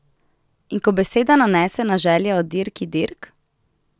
In ko beseda nanese na želje o dirki dirk?